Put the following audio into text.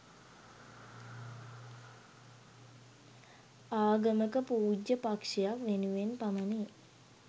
ආගමක පූජ්‍ය පක්ෂයක් වෙනුවෙන් පමණි.